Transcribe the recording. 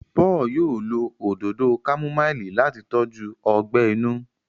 Paul yóò ló Òdòdó kámúmáìlì láti tọjú ogbè inú